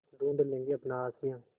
ढूँढ लेंगे अपना आशियाँ